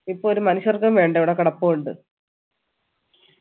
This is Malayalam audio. ഇപ്പൊ ഒരു മനുഷ്യർക്കും വേണ്ട ഇവിടെ കിടപ്പുണ്ട്